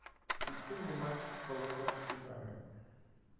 включи мне мальчик в полосатой пижаме